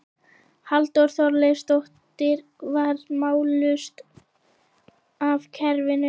Halldóra Þorleifsdóttir varð mállaus af skelfingu.